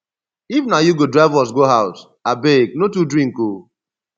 if na you go drive us go house abeg no too drink oo